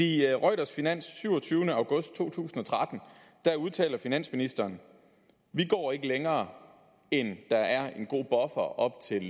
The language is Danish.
i reuters finans den syvogtyvende august to tusind og tretten udtaler finansministeren vi går ikke længere end der er en god buffer op til